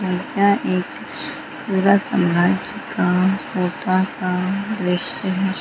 यह एक पूरा समाज का छोटा सा दृश्य है।